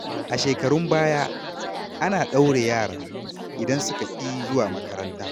A shekarun baya, ana ɗaure yara idan suka ƙi zuwa makaranta.